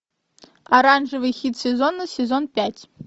оранжевый хит сезона сезон пять